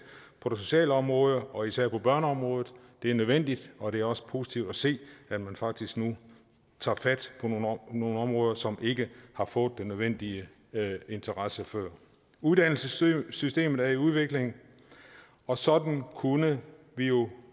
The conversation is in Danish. på det sociale område og især på børneområdet det er nødvendigt og det er også positivt at se at man faktisk nu tager fat på nogle områder som ikke har fået den nødvendige interesse før uddannelsessystemet er i udvikling og sådan kunne vi jo